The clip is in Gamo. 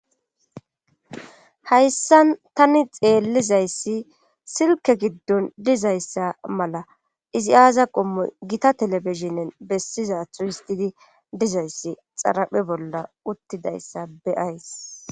hayssan tani xeellizayssi silke giddon dizayssa mala izi aaza qommo gita telebishinen bessizathu histidi dizayssi xaraphe bolla uttidayssa beyays